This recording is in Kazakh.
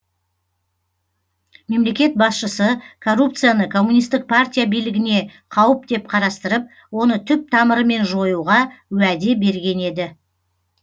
мемлекет басшысы коррупцияны коммунистік партия билігіне қауіп деп қарастырып оны түп тамырымен жоюға уәде берген еді